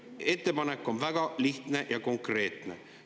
Ettepanek on väga lihtne ja konkreetne.